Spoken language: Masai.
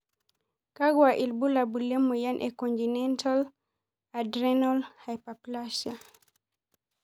Kakwa ibulabul le moyian e congenital adrenal hyperplasia?